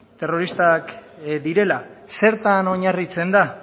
terroristak direla zertan oinarritzen da